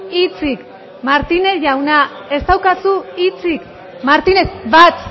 hitzik martínez jauna ez daukazu hitzik martínez bat